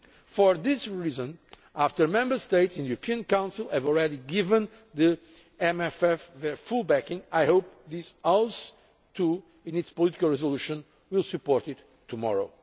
For this reason, after Member States in the Council have already given the MFF their full backing, I hope this House, in its political resolution, will also support it tomorrow.